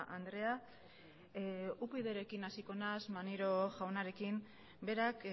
andrea upydrekin hasiko naiz maneiro jaunarekin berak